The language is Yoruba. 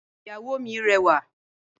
Ìyàwó mi rẹwà